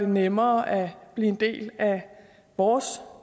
nemmere at blive en del af vores